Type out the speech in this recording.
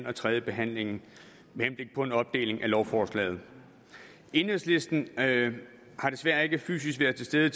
og tredjebehandlingen med henblik på en opdeling af lovforslaget enhedslisten har desværre ikke fysisk været til stede